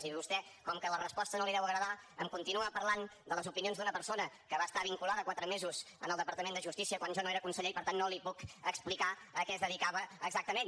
i vostè com que la resposta no li deu agradar em continua parlant de les opinions d’una persona que va estar vinculada quatre mesos al departament de justícia quan jo no era conseller i per tant no li puc explicar a què es dedicava exactament